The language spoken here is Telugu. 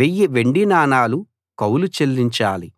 వెయ్యి వెండి నాణాలు కౌలు చెల్లించాలి